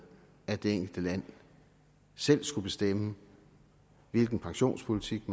at det enkelte land selv skulle bestemme hvilken pensionspolitik